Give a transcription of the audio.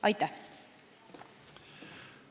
Aitäh!